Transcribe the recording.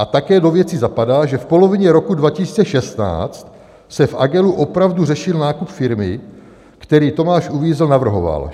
A také do věci zapadá, že v polovině roku 2016 se v Agelu opravdu řešil nákup firmy, který Tomáš Uvízl navrhoval.